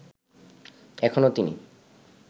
এখনও তিনি